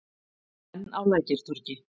Enn á Lækjartorgi.